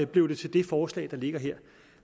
blev det til det forslag der ligger her